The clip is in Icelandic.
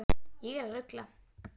Ég er að rugla.